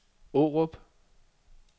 Aarup